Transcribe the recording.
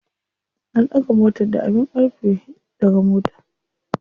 An ɗaga motar da abin ƙarfe ɗaga mota.